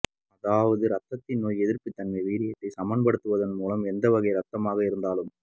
அதாவது ரத்தத்தில் நோய் எதிர்ப்பு தன்மையின் வீரியத்தை சமன்படுத்துவதன் மூலம் எந்த வகை ரத்தமாக இருந்தாலும்